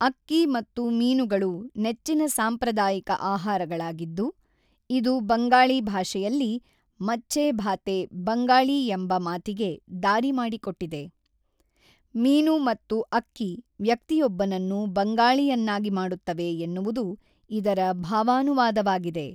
ಅಕ್ಕಿ ಮತ್ತು ಮೀನುಗಳು ನೆಚ್ಚಿನ ಸಾಂಪ್ರದಾಯಿಕ ಆಹಾರಗಳಾಗಿದ್ದು, ಇದು ಬಂಗಾಳಿ ಭಾಷೆಯಲ್ಲಿ, ಮಛ್ಛೆ ಭಾತೆ ಬಂಗಾಳಿ ಎಂಬ ಮಾತಿಗೆ ದಾರಿ ಮಾಡಿಕೊಟ್ಟಿದೆ; ಮೀನು ಮತ್ತು ಅಕ್ಕಿ ವ್ಯಕ್ತಿಯೊಬ್ಬನನ್ನು ಬಂಗಾಳಿಯನ್ನಾಗಿ ಮಾಡುತ್ತವೆ ಎನ್ನುವುದು ಇದರ ಭಾವಾನುವಾದವಾಗಿದೆ.